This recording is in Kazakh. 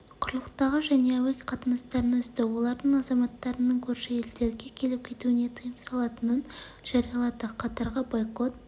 құрылықтағы және әуе қатынастарын үзді олардың азаматтарының көрші едерге келіп-кетуіне тыйым салатынын жариялады катарға байкот